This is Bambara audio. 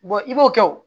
i b'o kɛ o